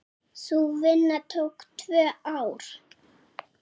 Sú vinna tók tvö ár.